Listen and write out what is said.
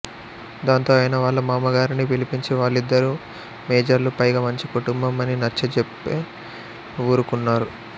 దాంతో ఆయన వాళ్ళ మామగారిని పిలిపించి వాళ్లిద్దరూ మేజర్లు పైగా మంచి కుటుంబం అని నచ్చజెప్తే వూరుకున్నారు